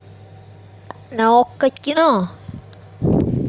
на окко кино